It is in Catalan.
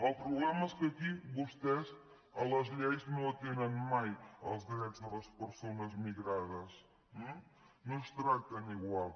el problema és que aquí vostès a les lleis no atenen mai els drets de les persones migrades no els tracten igual